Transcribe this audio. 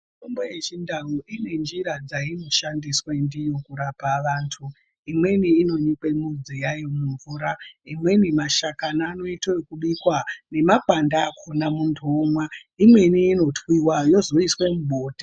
Mitombo yechindau ine njira dzaino shandiswa ndiyokurapa vantu, imweni inonyikwa midzi yayo mumvura, imweni mashakani anoita ekubikwa nemapande akhona muntu omwa, imweni inotwiwa yozoiswe mubota.